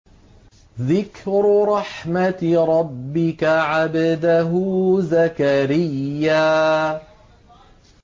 ذِكْرُ رَحْمَتِ رَبِّكَ عَبْدَهُ زَكَرِيَّا